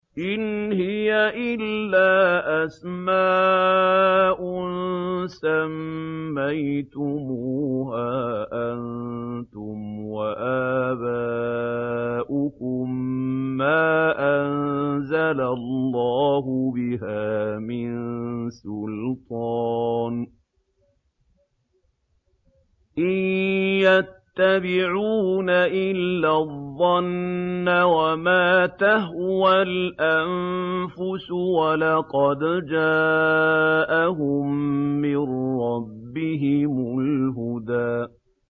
إِنْ هِيَ إِلَّا أَسْمَاءٌ سَمَّيْتُمُوهَا أَنتُمْ وَآبَاؤُكُم مَّا أَنزَلَ اللَّهُ بِهَا مِن سُلْطَانٍ ۚ إِن يَتَّبِعُونَ إِلَّا الظَّنَّ وَمَا تَهْوَى الْأَنفُسُ ۖ وَلَقَدْ جَاءَهُم مِّن رَّبِّهِمُ الْهُدَىٰ